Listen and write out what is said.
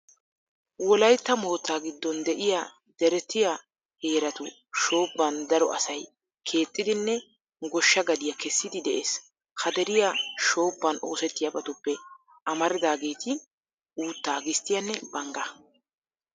Wolaytta moottaa giddon de'iya deretiya heeratu shoobban daro asay keexxidinne goshsha gadiya kessidi de'ees. Ha deriya shoobban oosettiyabatuppe amaridaageeti uuttaa, gisttiyanne banggaa.